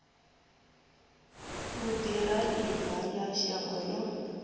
u ḓiraiva ya shango ḽa